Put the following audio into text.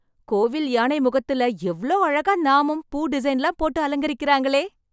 கோவில் யானை முகத்துல, எவ்ளோ அழகான நாமம், பூ டிசைன்லாம் போட்டு அலங்கரிக்கறாங்களே..